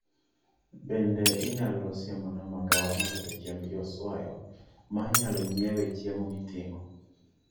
Bende inyalo siemona magawa maloso chiemb joswayo ma inyalo nyiewe chiemo miting'o